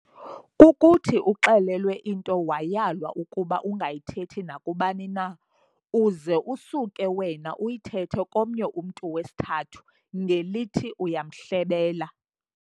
Kukuthi uxelelwe into wayalwa ukuba ungayithethi nakubani na, uz'usuke wena uyithethe komnye umntu wesithathu, ngelithi uyamhlebela.